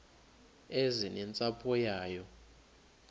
eze nentsapho yayo